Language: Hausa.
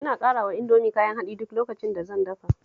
Ina ƙarawa Indomi kayan haɗi duk lokacin da zan dafa ta